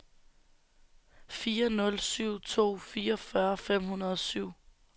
fire nul syv to fireogfyrre fem hundrede og syv